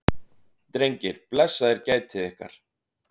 Drengir, blessaðir gætið ykkar.